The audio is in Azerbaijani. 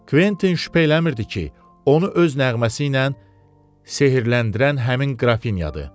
Kventin şübhələnmirdi ki, onu öz nəğməsi ilə sehrləndirən həmin Qrafinyadır.